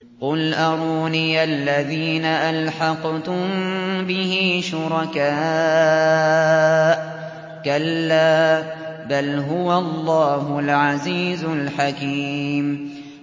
قُلْ أَرُونِيَ الَّذِينَ أَلْحَقْتُم بِهِ شُرَكَاءَ ۖ كَلَّا ۚ بَلْ هُوَ اللَّهُ الْعَزِيزُ الْحَكِيمُ